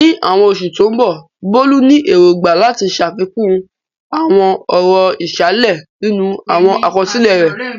Ní àwọn oṣù tó ń bọ̀, Bolu ní èrògbà láti ṣàfikún àwọn ọ̀rọ̀ ìsàlẹ̀ nínú àwọn àkọsílẹ̀ rẹ̀.